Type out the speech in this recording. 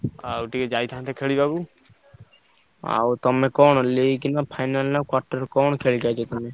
ଆଉ ଟିକେ ଯାଇଥାନ୍ତେ ଖେଳିବାକୁ। ଆଉ ତମେ କଣ ଲେଇକି ନାଁ final ନାଁ quarter କଣ ଖେଳୁଛ ତମେ?